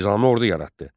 Nizami ordu yaratdı.